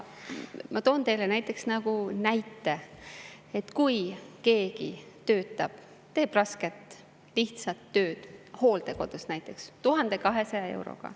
Ma toon teile näite, et kui keegi teeb rasket lihtsat tööd hooldekodus näiteks 1200 euro eest.